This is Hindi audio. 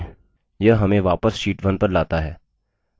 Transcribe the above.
यह हमें वापस sheet 1 पर लाता है